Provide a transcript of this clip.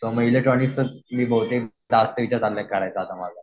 So मग इलेक्ट्रॉनिक्सचंच बहुतेक मी काम जास्त विचार चालू आहे माझा करायचा.